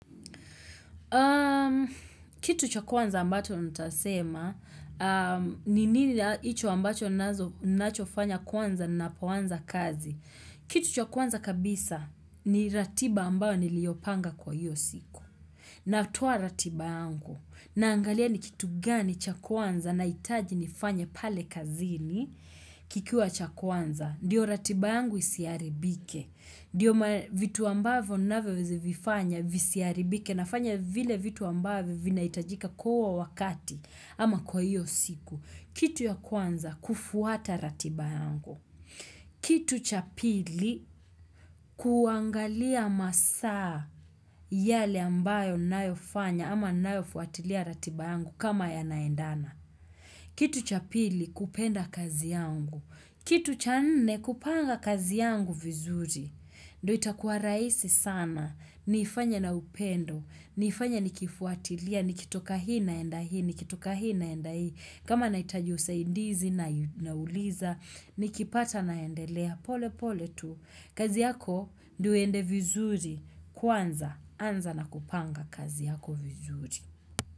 Kitu cha kwanza ambacho nitasema ni nini na icho ambacho nachofanya kwanza napoanza kazi. Kitu cha kwanza kabisa ni ratiba ambayo niliopanga kwa hiyo siku. Natoa ratiba yangu. Naangalia ni kitu gani cha kwanza naitaji nifanye pale kazini kikiwa cha kwanza. Ndiyo ratiba yangu isiharibike. Ndiyo vitu ambavyo navyovifanya visiaribike nafanya vile vitu ambavyo vinaitajika kwa huo wakati ama kwa hiyo siku. Kitu ya kwanza kufuata ratiba yangu. Ama saa yale ambayo nayofanya ama nayofuatilia ratiba yangu kama yanaendana. Kitu cha pili kupenda kazi yangu. Kitu cha nne kupanga kazi yangu vizuri. Ndo itakuwa raisi sana. Niifanye na upendo. Niifanye nikifuatilia. Nikitoka hii naenda hii. Nikitoka hii naenda hii. Kama naitaji usaidizi nauliza. Nikipata naendelea. Pole pole tu. Kazi yako ndo iende vizuri. Kwanza. Anza na kupanga kazi yako vizuri.